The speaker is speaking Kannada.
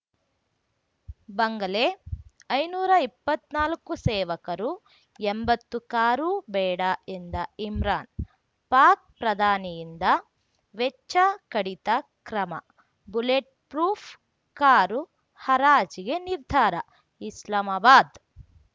ಬಂಗಲೆ ಐನೂರಾ ಇಪ್ಪತ್ನಾಲ್ಕು ಸೇವಕರು ಎಂಬತ್ತು ಕಾರು ಬೇಡ ಎಂದ ಇಮ್ರಾನ್‌ ಪಾಕ್‌ ಪ್ರಧಾನಿಯಿಂದ ವೆಚ್ಚ ಕಡಿತ ಕ್ರಮ ಬುಲೆಟ್‌ಪ್ರೂಫ್‌ ಕಾರು ಹರಾಜಿಗೆ ನಿರ್ಧಾರ ಇಸ್ಲಾಮಾಬಾದ್‌